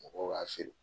Mɔgɔw b'a feere